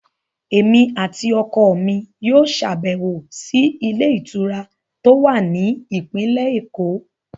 Èmi àti ọkọ mi yóò ṣàbẹ̀wò sí ilé ìtura tó wà ní ìpínlẹ̀ èkó